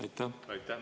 Aitäh!